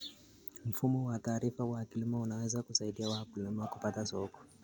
Mfumo wa taarifa wa kilimo unaweza kusaidia wakulima kupata soko.